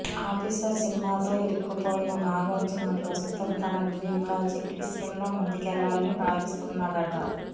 officer సినిమాతో ఇరుక్కుపోయిన నాగార్జున ప్రస్తుతం తన డ్రీమ్ ప్రాజెక్ట్ విషయంలో ముందుకేల్లాలని భావిస్తున్నాడట